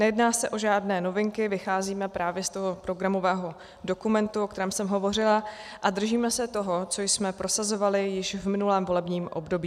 Nejedná se o žádné novinky, vycházíme právě z toho programového dokumentu, o kterém jsem hovořila, a držíme se toho, co jsme prosazovali již v minulém volebním období.